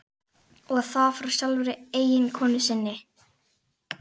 Og það frá sjálfri eiginkonu sinni.